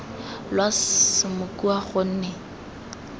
lwa s s mokua gonne